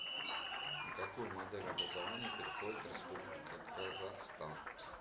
на какую модель образования переходит республика казахстан